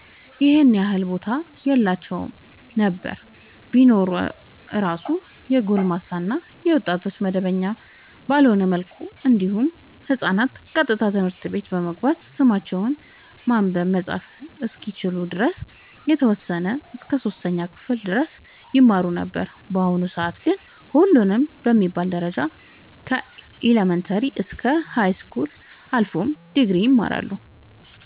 ይኸን ያህል ቦታ የላቸውም ነበር ቢኖር እራሱ የጎልማሳ እና የወጣቶች መደበኛ ባልሆነ መልኩ እንዲሁም ህፃናት ቀጥታ ትምህርት ቤት በመግባት ስማቸውን ማንበብ መፃፍ እስከሚችሉ ድረስ የተወሰነ እስከ 3ኛ ክፍል ድረስ ይማሩ ነበር በአሁኑ ሰአት ግን ሁሉም በሚባል ደረጃ ከኢለመንታሪ እስከ ሀይስኩል አልፎም ድግሪ ይማራሉ